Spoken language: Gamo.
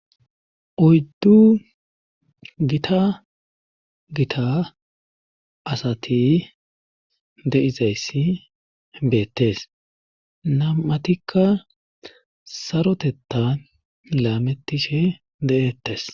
oyddu gita gita asati de7izayssi beettes namatikka sarotetta laametishe de7ettes